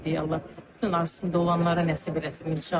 Allah bütün arzusunda olanlara nəsib eləsin inşallah.